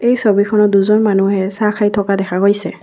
এই ছবিখনত দুজন মানুহে চাহ খাই থকা দেখা গৈছে।